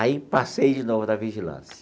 Aí passei de novo na vigilância.